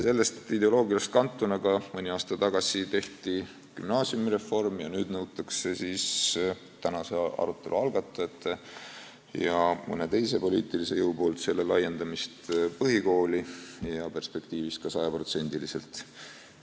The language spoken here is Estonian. Sellest ideoloogiast kantuna tehti ka mõni aasta tagasi gümnaasiumireform ja nüüd nõuavad tänase arutelu algatajad ja mõni teine poliitiline jõud selle laiendamist põhikooli ja perspektiivis sajaprotsendiliselt.